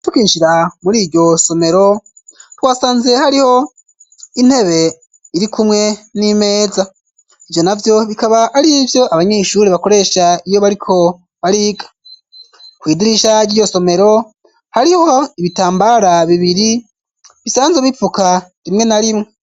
Tukinjira muri iryo somero tuwasanze hariho intebe iri kumwe n'imeza ivyo navyo bikaba ari vyo abanyeshure bakoresha iyo bariko bariga, kwidirisha ry'iyo somero hariho ibitambara bibiri bisanze bipfuka rimwe na rimwe.